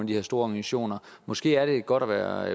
de her store organisationer måske er det godt at være